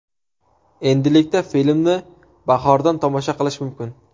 Endilikda filmni bahordan tomosha qilish mumkin.